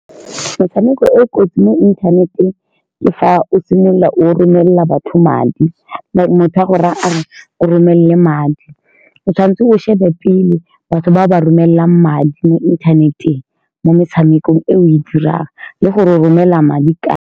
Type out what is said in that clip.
Metshameko e e kotsi mo inthaneteng ke fa o simolola o romelela batho madi, motho a go raya a re o mo romelele madi. O tshwanetse o shebe pele batho ba o ba romelelang madi mo inthaneteng, mo metshamekong e o e dirang, le go romela madi kae.